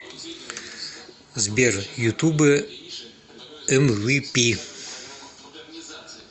сбер ютубэ эмвипи